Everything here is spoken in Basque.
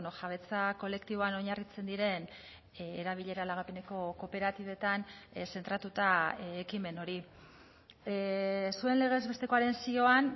jabetza kolektiboan oinarritzen diren erabilera lagapeneko kooperatibetan zentratuta ekimen hori zuen legez bestekoaren zioan